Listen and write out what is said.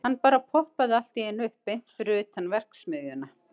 Hann bara poppaði allt í einu upp beint fyrir utan verksmiðjuna.